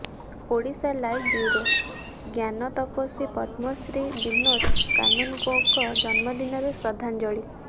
Odisha live bureau ଜ୍ଞାନତପସ୍ୱୀ ପଦ୍ମଶ୍ରୀ ବିନୋଦ କାନୁନଗୋଙ୍କ ଜନ୍ମଦିନରେ ଶ୍ରଦ୍ଧାଞ୍ଜଳି